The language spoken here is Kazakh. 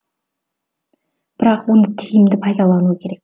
бірақ оны тиімді пайдалану керек